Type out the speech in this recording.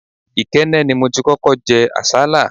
Ikenne ni mo ti kókó jẹ àsálà.